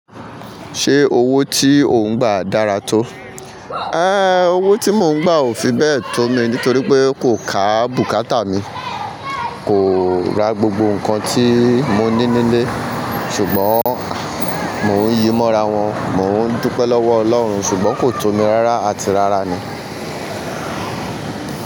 Ṣé owó tí ò ń gba dára tó? Ehn owó tí mo ń gba ò fi bẹ tó mi nítorí pé kò ká bùkátà mi, kò ra gbogbo nǹkan tí mo ní nílé ṣùgbọ́n mo ń yí ìmọ́ra wọn, mo ń dúpẹ́ lọ́wọ́ Ọlọ́run ṣùgbọ́n kò tó mi rárá àti rárá ni.